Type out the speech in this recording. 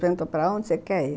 Perguntou para onde você quer ir.